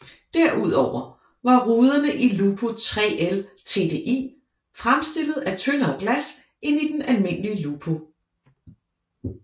Derudover var ruderne i Lupo 3L TDI fremstillet af tyndere glas end i den almindelige Lupo